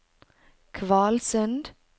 Kvalsund